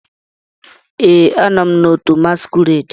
Ee, a nọ m na otu masquerade.